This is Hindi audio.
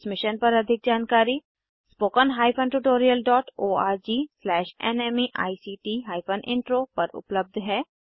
इस मिशन पर अधिक जानकारी httpspoken tutorialorgNMEICT Intro पर उपलब्ध है